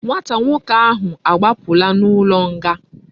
Nwata nwoke ahu agbapula na ulo nga